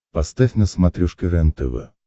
поставь на смотрешке рентв